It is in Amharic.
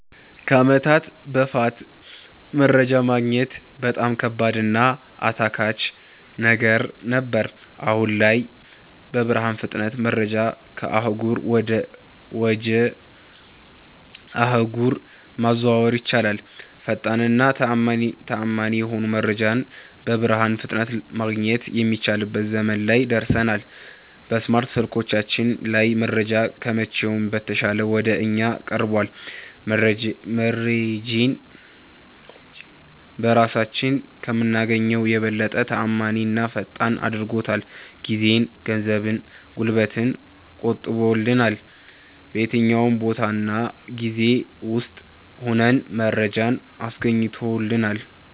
ከአመታት በፋት መረጃ ማግኘት በጣም ከባድ እና አታካች ነገር ነበር። አሁን ላይ በብርሃን ፍጥነት መረጃን ከአህጉር ወጀ አህጉር ማዘዋወር ይቻላል። ፈጣን እና ተአመኒ የሆነ መረጃን በብርሃን ፍጥነት ማገኘት የሚችልበት ዘመን ላይ ደርሠናል። በስማርት ስልኮቻችን ላይ መረጃ ከመቼውም በተሻለ ወደ እኛ ቀርቧል። መረጄን በራሳችን ከምናገኘው የበለጠ ተአማኒና ፈጣን አድርጎታል። ጊዜን፣ ገንዘብን፣ ጉልበትን ቆጥቦልናል። በየትኛውም ቦታ እና ጊዜ ውስጥ ሁነን መረጃን አስገኝቶልናል።